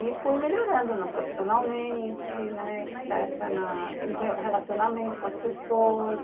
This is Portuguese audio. e fui melhorando no profissionalmente, etecetera, na no relacionamento com as pessoas.